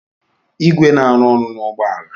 igwe na-arụ ọrụ na ụgbọ ala